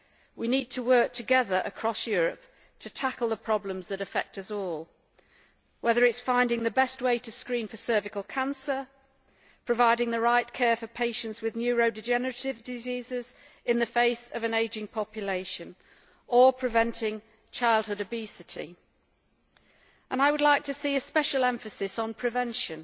We need to work together across Europe to tackle the problems that affect us all, whether it is finding the best way to screen for cervical cancer, providing the right care for patients with neurodegenerative diseases in the face of an ageing population, or preventing childhood obesity. I would like to see a special emphasis on prevention.